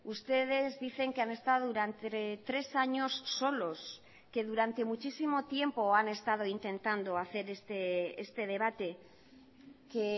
ustedes dicen que han estado durante tres años solos que durante muchísimo tiempo han estado intentando hacer este debate que